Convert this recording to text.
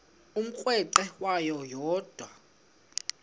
umrweqe wayo yoonda